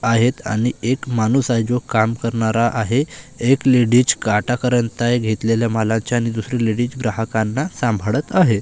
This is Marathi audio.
आहेत आणि एक माणूस आहे जो काम करणारा आहे एक लेडीज काटा करत आहे घेतलेल्या मालाच्या आणि दुसरी लेडीज ग्राहकांना सांभाळत आहे.